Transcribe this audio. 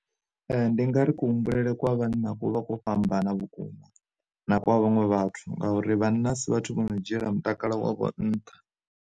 Ndi nga ri ku humbulele kwa vhanna ku vhakho fhambana vhukuma na kwa vhaṅwe vhathu, ngauri vhana asi vhathu vho no dzhiela mutakalo wavho nnṱha.